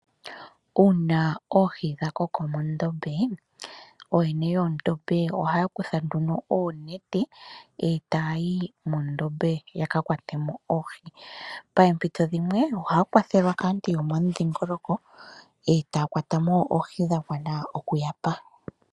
Uuna oohi dhakoko mondombe, ooyene yoondombe ohaya kutha nduno oonete etaayi mondombe yaka kwatemo oohi. Paampito dhimwe ohaa kwathelwa kaantu yomomudhingoloko etaya kwatamo oohi dhagwana okuyapa.